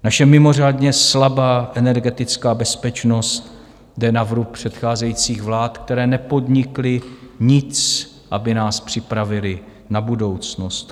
Naše mimořádně slabá energetická bezpečnost jde na vrub předcházejících vlád, které nepodnikly nic, aby nás připravily na budoucnost.